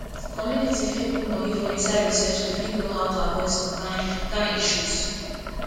community fit put money for inside research to fit know how to avoid some kind kind issues